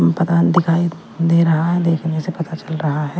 दिखाई दे रहा है देखने से पता चल रहा है।